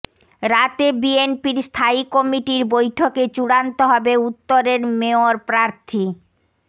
রাতে বিএনপির স্থায়ী কমিটির বৈঠকে চূড়ান্ত হবে উত্তরের মেয়র প্রার্থী